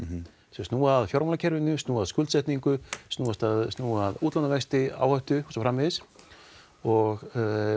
þau snúa að fjármálakerfinu snúa að skuldsetningu snúa að snúa að útlánavexti áhættu og svo framvegis og